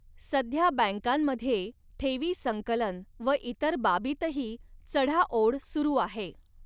सध्या बॅंकांमध्ये ठेवी संकलन व इतर बाबींतही चढाओढ सुरू आहे.